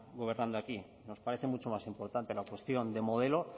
gobernando aquí nos parece mucho más importante la cuestión de modelo